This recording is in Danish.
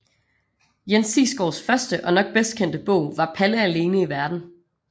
Jens Sigsgaards første og nok bedst kendte bog var Palle alene i Verden